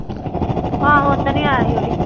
ਆਹੋ ਓਦਣ ਹੀ ਆਇਆ ਸੀ ਉਹ ਵੀ।